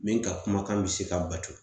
Min ka kumakan bɛ se ka bato